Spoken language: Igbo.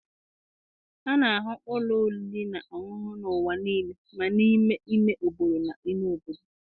A na-ahụ ụlọ oriri na ọṅụṅụ n'ụwa niile ma n'ime ime obodo na ime obodo